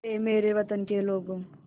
ऐ मेरे वतन के लोगों